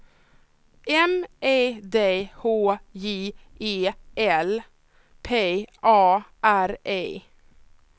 M E D H J Ä L P A R E